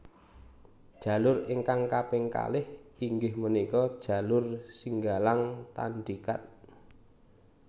Jalur ingkang kaping kalih inggih punika jalur Singgalang Tandikat